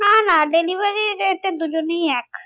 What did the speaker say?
না না delivery র rate এ দুজনেই এক